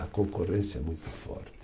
A concorrência é muito forte.